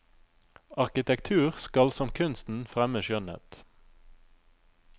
Arkitektur skal som kunsten fremme skjønnhet.